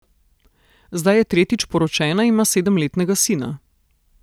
Zdaj je tretjič poročena in ima sedemletnega sina.